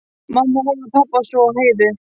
Mamma horfði á pabba, svo á Heiðu.